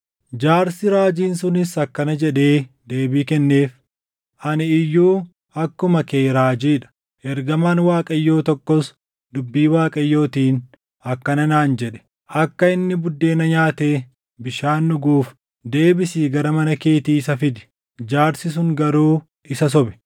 Jaarsi raajiin sunis akkana jedhee deebii kenneef; “Ani iyyuu akkuma kee raajii dha. Ergamaan Waaqayyoo tokkos dubbii Waaqayyootiin akkana naan jedhe; ‘Akka inni buddeena nyaatee bishaan dhuguuf deebisii gara mana keetii isa fidi.’ ” Jaarsi sun garuu isa sobe.